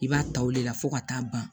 I b'a ta o de la fo ka taa ban